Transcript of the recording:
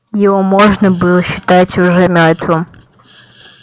его можно было считать уже мёртвым